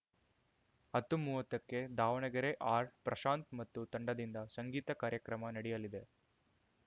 ಹತ್ತುಮೂವತ್ತಕ್ಕೆ ದಾವಣಗೆರೆ ಆರ್‌ಪ್ರಶಾಂತ್‌ ಮತ್ತು ತಂಡದಿಂದ ಸಂಗೀತ ಕಾರ್ಯಕ್ರಮ ನಡೆಯಲಿದೆ